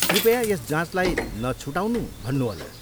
कृपया यस जाँचलाई नछुटाउनु भन्नुहोला।